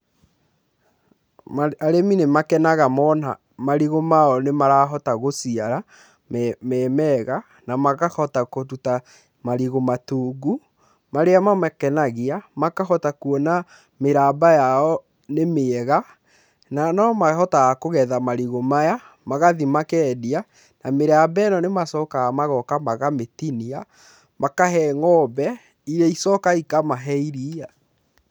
Arĩmi nĩ makenaga mona marigũ mao nĩ marahota gũciara me mega na makahota kũruta marigũ matungu marĩa makenagia, makahota kuona mĩramba yao nĩ mĩega na no mahotaga kũgetha marigũ maya, magathiĩ makendia na mĩramba ĩno nĩ macokaga magoka makamĩtinia makahe ng'ombe iria icokaga ikamahe iria.